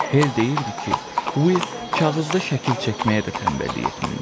Hell deyirdi ki, Will kağızda şəkil çəkməyə də tənbəllik etmirmiş.